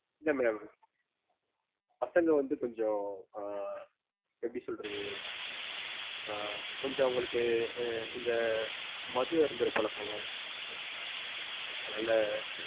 இல்ல madam பசங்க வந்து கொஞ்சம் அஹ் எப்படி சொல்றது அஹ் கொஞ்சம் அவங்களுக்கு இந்த மது அருந்துற பழக்கம் அதுனால,